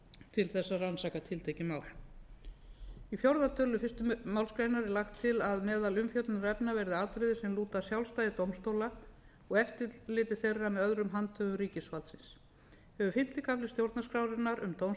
til að rannsaka tiltekin mál í fjórða tölulið fyrstu málsgrein er lagt til að meðal umfjöllunarefna verði atriði sem lúta að sjálfstæði dómstóla og eftirliti þeirra með öðrum handhöfum ríkisvalds hefur fimmta kafla stjórnarskrárinnar um dómstóla